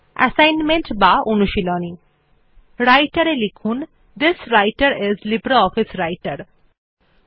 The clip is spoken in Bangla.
অ্যাসাইনমেন্ট বা অনুশীলনী Writer এ থিস্বৃতের আইএস লিব্রিঅফিস রাইটের লিখুন